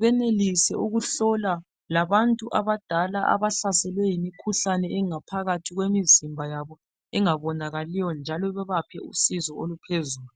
benelise ukuhlola labantu abadala abahlaselwe yimikhuhlane engaphakathi kwemizimba yabo njalo bebanike usizo uluphezulu.